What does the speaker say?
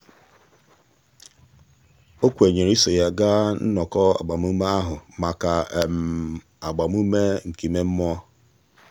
o kwenyere iso ya gaa nnọkọ agbamume ahụ maka agbamume nke ime mmụọ.